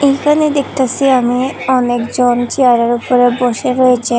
এখানে দেখতাসি আমি অনেকজন চেয়ারের ওপরে বসে রয়েছে।